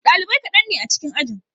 Dalibai kaɗan ne a cikin ajin.